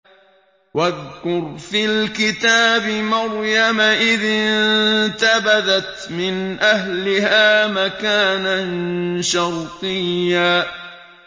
وَاذْكُرْ فِي الْكِتَابِ مَرْيَمَ إِذِ انتَبَذَتْ مِنْ أَهْلِهَا مَكَانًا شَرْقِيًّا